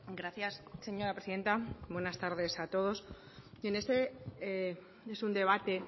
gracias señora presidenta buenas tardes a todos este es un debate